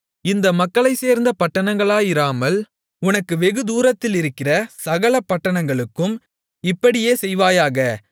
இந்த மக்களைச்சேர்ந்த பட்டணங்களாயிராமல் உனக்கு வெகுதூரத்திலிருக்கிற சகல பட்டணங்களுக்கும் இப்படியே செய்வாயாக